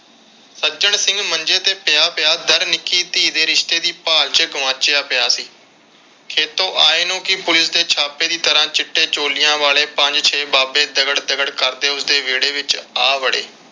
ਸੱਜਣ ਸਿੰਘ ਮੰਜੇ ਤੇ ਪਿਆ ਪਿਆ ਦੱਰ ਨਿੱਕੀ ਧੀ ਦੇ ਰਿਸ਼ਤੇ ਦੀ ਭਾਲ ਵਿਚ ਗੁਆਚਿਆ ਪਿਆ ਸੀ। ਖੇਤੋਂ ਆਏ ਨੂੰ ਪੁਲਿਸ ਦੇ ਛਾਪੇ ਦੀ ਤਰ੍ਹਾਂ ਚਿੱਟੇ ਚੋਲਿਆਂ ਵਾਲੇ ਪੰਜ ਛੇ ਬਾਬੇ ਦਗੜ ਦਗੜ ਕਰਦੇ ਉਸਦੇ ਵਿਹੜੇ ਵਿਚ ਆ ਵੜੇ।